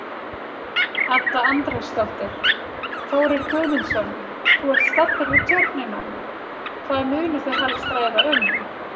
Edda Andrésdóttir: Þórir Guðmundsson, þú ert staddur við Tjörnina, hvað munu þau helst ræða um?